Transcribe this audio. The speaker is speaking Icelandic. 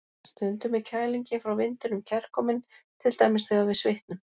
Stundum er kælingin frá vindinum kærkomin, til dæmis þegar við svitnum.